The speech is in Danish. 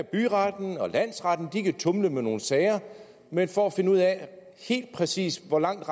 byretten og landsretten kan tumle med nogle sager men for at finde ud af helt præcis hvor langt